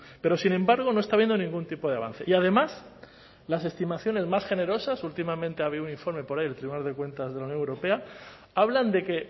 pero sin embargo no está habiendo ningún tipo de avance y además las estimaciones más generosas últimamente había un informe por ahí del tribunal de cuentas de la unión europea hablan de que